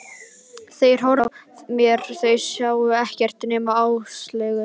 Þeir horfðu framhjá mér, sáu ekkert nema Áslaugu.